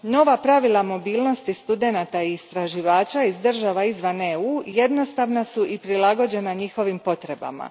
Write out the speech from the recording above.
Nova pravila mobilnosti studenata i istraživača iz država izvan EU a jednostavna su i prilagođena njihovim potrebama.